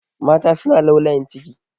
Mata suna laulayin ciki.